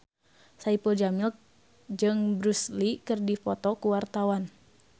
Saipul Jamil jeung Bruce Lee keur dipoto ku wartawan